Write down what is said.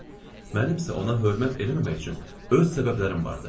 Mənim isə ona hörmət eləməmək üçün öz səbəblərim vardı.